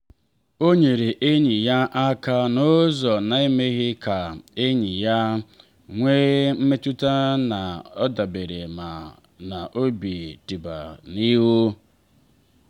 ha na eme atụmatụ izute ọnụ na elebara ọnọdụ ego mmadụ um ọ bụla anya.